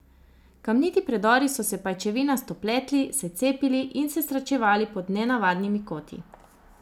Kamniti predori so se pajčevinasto pletli, se cepili in se srečevali pod nenavadnimi koti.